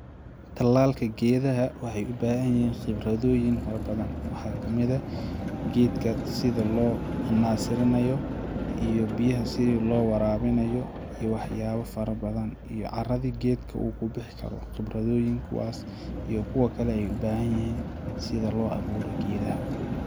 talaalka geedaha waxee ubahanyihiin khibradooyin farobadan, waxa kamida geedka hada sida loo nasirinayo iyo biyaha sida loo warabinayo iyo waxa yaabo farobadan iyo geedka carada uu kubixi karo khibradooyin kuwas iyo kuwa kale ayee ubahanyihiin sida loo abuuro geedaha.